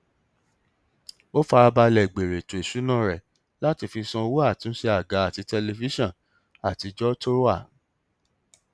ó fara balẹ gbèrò ètò ìṣúná rẹ láti fi san owó àtúnṣe àga àti tẹlifíṣàn àtijọ tó wà